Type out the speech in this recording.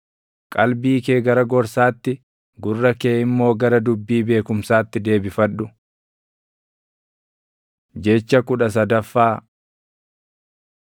Qalbii kee gara gorsaatti, gurra kee immoo gara dubbii beekumsaatti deebifadhu. Jecha kudha sadaffaa